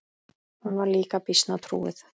Hún var líka býsna trúuð.